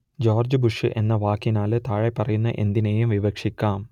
George Bush എന്ന വാക്കിനാൽ താഴെപ്പറയുന്ന എന്തിനേയും വിവക്ഷിക്കാം